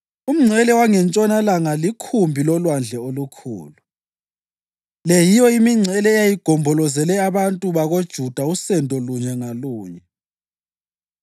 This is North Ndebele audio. Umngcele wangentshonalanga likhumbi loLwandle oLukhulu. Le yiyo imingcele eyayigombolozele abantu bakoJuda usendo lunye ngalunye.